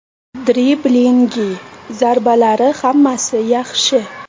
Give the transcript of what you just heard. Driblingi, zarbalari hammasi yaxshi.